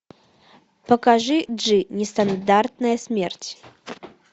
покажи джи нестандартная смерть